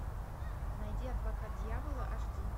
найди адвокат дьявола аш ди